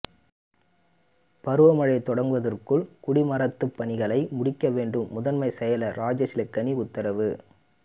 பருவமழை தொடங்குவதற்குள் குடிமராமத்துப் பணிகளை முடிக்க வேண்டும் முதன்மை செயலா் ராஜேஷ்லக்கானி உத்தரவு